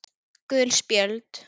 Gul spjöld